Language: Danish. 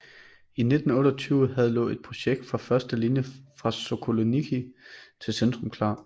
I 1928 havde lå et projekt for første linje fra Sokolniki til centrum klar